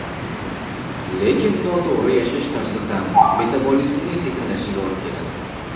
Lekin, noto‘g‘ri yashash tarzi ham metabolizmning sekinlashishiga olib keladi.